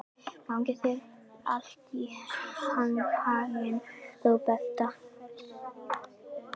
Gangi þér allt í haginn, Róberta.